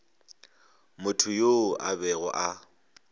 motho yoo a bego a